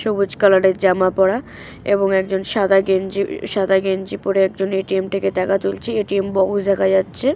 সবুজ কালার -এর জামা পরা এবং একজন সাদা গেঞ্জি ই সাদা গেঞ্জি পড়ে একজন এ.টি.এম থেকে টাকা তুলছে এ.টি.এম দেখা যাচ্ছে।